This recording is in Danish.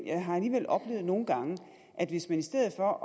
jeg har alligevel oplevet nogle gange at hvis man i stedet for